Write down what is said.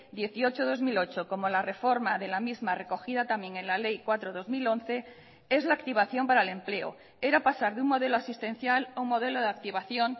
dieciocho barra dos mil ocho como la reforma de la misma recogida también en la ley cuatro barra dos mil once es la activación para el empleo era pasar de un modelo asistencial a un modelo de activación